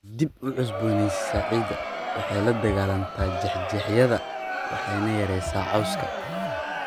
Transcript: Waxay dib u cusboonaysiisaa ciidda, waxay la dagaallantaa jeexjeexyada waxayna yaraysaa cawska.